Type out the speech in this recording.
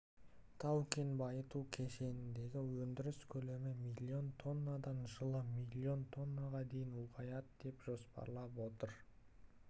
тау-кен байыту кешеніндегі өндіріс көлемі миллион тоннадан жылы миллион тоннаға дейін ұлғаяды деп жоспарланып отыр